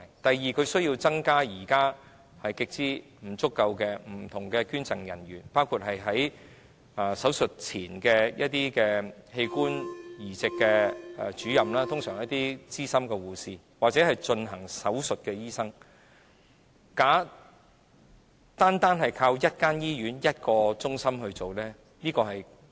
第二，政府需要增加現時極之不足夠的處理器官捐贈的人員，包括增設有關器官移植的主任，他們通常是一些資深的護士，或進行手術的醫生，以處理手術前的事務。